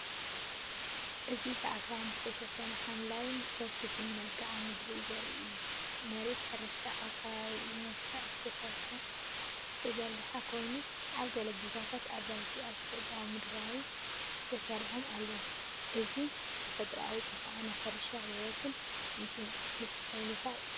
እዚ ብኣኽራን ዝተሸፈነ ሓምላይን ሰፊሕን መልክዓ ምድሪ ዘርኢ እዩ። መሬት ሕርሻ ኣብ ከባቢኡ ብመስርዕ ዝተዘርግሐ ኮይኑ፡ ኣብ ገለ ቦታታት ኣባይቲ ኣብ ተፈጥሮኣዊ ምድላው ተሰሪዖም ኣለዉ። እዚ ንተፈጥሮኣዊ ጽባቐን ናይ ሕርሻ ህይወትን ምትሕንፋጽ ዘርኢ እዩ።